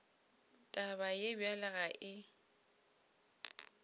taba ye bjalo ga e